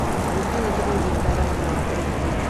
вруби на телевизоре дорама эйч ди